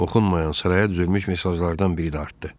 Oxunmayan sıraya düzülmüş mesajlardan biri də artdı.